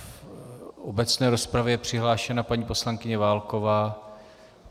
V obecné rozpravě je přihlášená paní poslankyně Válková.